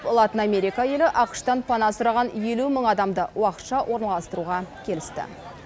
латын америка елі ақш тан пана сұраған елу мың адамды уақытша орналастыруға келісті